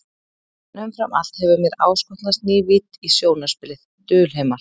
En umfram allt hefur mér áskotnast ný vídd í sjónarspilið, dulheimar.